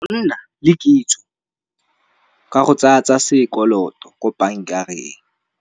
Go nna le kitso ka go tsaya tsa sekoloto ko bank-areng.